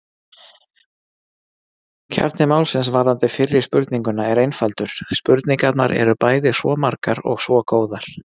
Kjarni málsins varðandi fyrri spurninguna er einfaldur: Spurningarnar eru bæði svo margar og svo góðar!